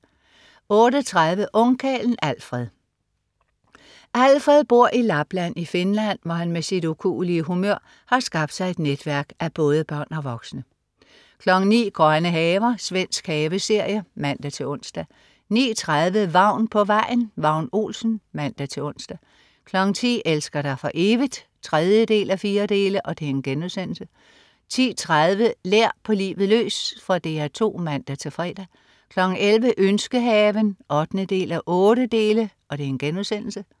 08.30 Ungkarlen Alfred. Alfred bor i Lapland i Finland, hvor han med sit ukuelige humør har skabt sig et netværk af både børn og voksne 09.00 Grønne haver. Svensk haveserie (man-ons) 09.30 Vagn på vejen. Vagn Olsen (man-ons) 10.00 Elsker dig for evigt? 3:4* 10.30 Lær på livet løs. Fra DR 2 (man-fre) 11.00 Ønskehaven 8:8*